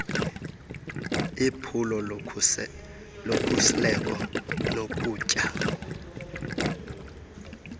iphulo lokhusleko lokutya